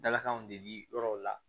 Dalakanw deli yɔrɔw la